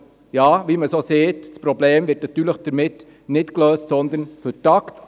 Aber, wie man sagt: Das Problem wird damit nicht gelöst, sondern vertagt.